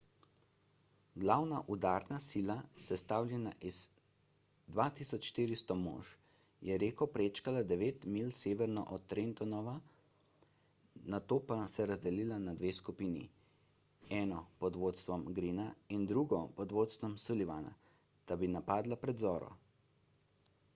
glavna udarna sila sestavljena iz 2400 mož je reko prečkala devet milj severno od trentona nato pa se razdelila na dve skupini eno pod vodstvom greena in drugo pod vodstvom sullivana da bi napadla pred zoro